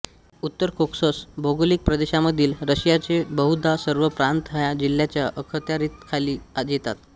उत्तर कोकसस भौगोलिक प्रदेशामधील रशियाचे बहुधा सर्व प्रांत ह्या जिल्ह्याच्या अखत्यारीखाली येतात